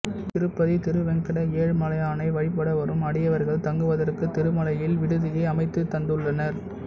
திருப்பதி திருவேங்கட ஏழுமலையானை வழிபட வரும் அடியவர்கள் தங்குவதற்கு திருமலையில் விடுதியை அமைத்துத் தந்துள்ளார்